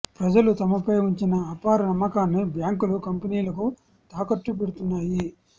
ప్రజలు తమపై ఉంచిన అపార నమ్మకాన్ని బ్యాంకులు కంపెనీలకు తాకట్టు పెడుతున్నా యి